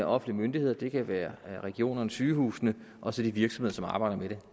offentlige myndigheder det kan være regionerne sygehusene og så de virksomheder som arbejder med det